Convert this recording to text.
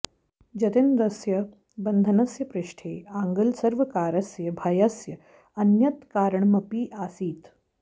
जतीन्द्रस्य बन्धनस्य पृष्ठे आङ्ग्लसर्वकारस्य भयस्य अन्यत् कारणमपि आसीत्